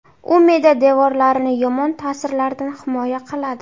U me’da devorlarini yomon ta’sirlardan himoya qiladi.